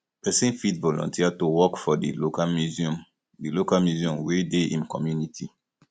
person fit volunteer to work for di local museum di local museum wey dey im community